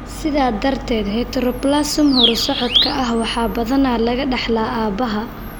Sidaa darteed, heteroplasma horu-socodka ah waxaa badanaa laga dhaxlaa aabbaha.